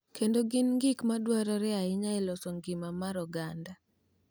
Kendo gin gik ma dwarore ahinya e loso ngima mar oganda.